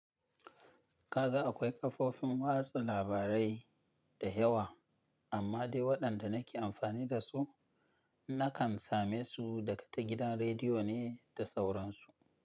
Kaga akwai kafofin watsa labarai da yawa amma dai waɗanda nake amfani da su nakan same su daga ta gidan rediyo ne da sauransu.